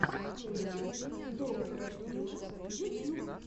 мультик доктора фила ютьюб